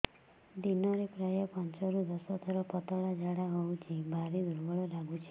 ଦିନରେ ପ୍ରାୟ ପାଞ୍ଚରୁ ଦଶ ଥର ପତଳା ଝାଡା ହଉଚି ଭାରି ଦୁର୍ବଳ ଲାଗୁଚି